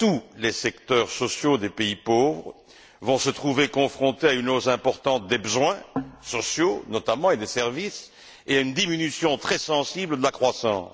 Tous les secteurs sociaux des pays pauvres vont se trouver confrontés à une hausse importante des besoins sociaux, notamment, et des services, et à une diminution très sensible de la croissance.